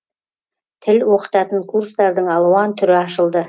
тіл оқытатын курстардың алуан түрі ашылды